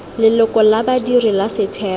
leloko la badiri la setheo